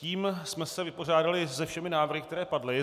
Tím jsme se vypořádali se všemi návrhy, které padly.